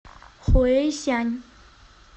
хуэйсянь